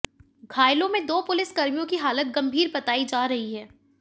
घायलों में दो पुलिसकर्मियों की हालत गंभीर बताई जा रही है